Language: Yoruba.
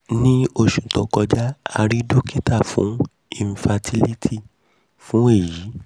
ni oṣu to kọja a rii dokita ti um infertility fun eyi